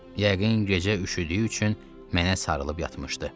Yəqin gecə üşüdüyü üçün mənə sarılıb yatmışdı.